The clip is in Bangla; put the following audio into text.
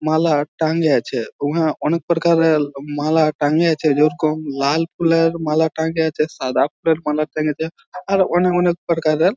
মালা টাঙিয়েছে উহা অনেক প্ররকারের মালা টাঙিয়েছে যেরকম লাল ফুলের মালা টাঙিয়েছে সাদা ফুলের মালা টাঙিয়েছে আরো অনেক অনেক প্রকারের--